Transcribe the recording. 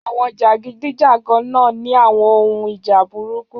Àwọn jàgídíjàgan náà ní àwon ohun ìjà burúkú